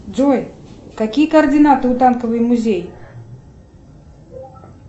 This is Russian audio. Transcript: джой какие координаты у танковый музей